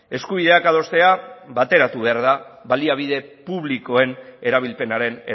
eskubideak adostea bateratu behar da baliabide publikoen erabilpenaren